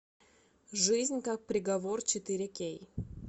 жизнь как приговор четыре кей